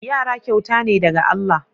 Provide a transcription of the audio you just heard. Yara kyauta ne daga Allah.